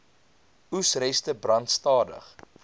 oesreste brand stadig